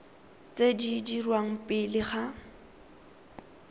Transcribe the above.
tse di dirwang pele ga